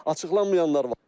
Açıqlanmayanlar var.